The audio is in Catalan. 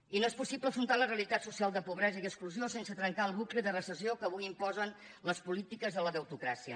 i no és possible afrontar la realitat social de pobresa i exclusió sense trencar el bucle de recessió que avui imposen les polítiques de la deutocràcia